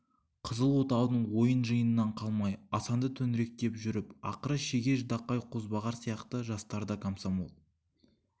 қызыл отаудың ойын жиынынан қалмай асанды төңіректеп жүріп ақыры шеге ждақай қозбағар сияқты жастар да комсомол